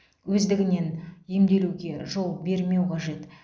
өздігінен емделуге жол бермеу қажет